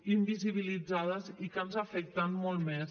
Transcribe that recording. invisibilitzades i que ens afecten molt més